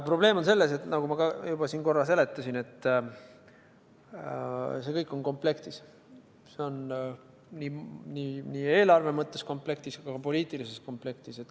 Probleem on selles, nagu ma ka juba siin korra seletasin, et see kõik on komplektis, see on nii eelarve mõttes komplektis kui ka poliitilises komplektis.